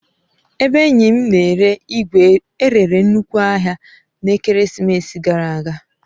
Ebe enyi m na-ere igwe e rere nnukwu ahia n'ekeresimesi gara aga.